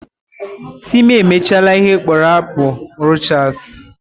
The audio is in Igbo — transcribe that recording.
Timi emechala ihe akpụrụ akpụ Rochas